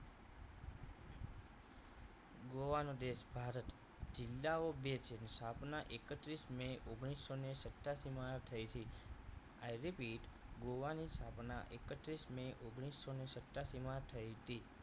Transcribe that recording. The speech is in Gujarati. ગોવા નો દેશ ભારત જીલ્લાઓ બે છે સ્થાપના એકત્રીસ મે ઓગણીસો ને સત્યાશી માં થઈ તી i repeat ગોવાની સ્થાપના એકત્રીસ મે ઓગણીસો ને સત્યાશી માં થઈ તી